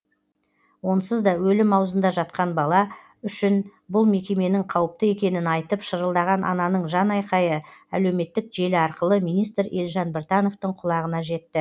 онсыз да өлім аузында жатқан бала үшін бұл мекеменің қауіпті екенін айтып шырылдаған ананың жанайқайы әлеуметтік желі арқылы министр елжан біртановтың құлағына жетті